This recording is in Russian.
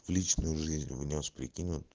в личную жизнь внёс прикинь вот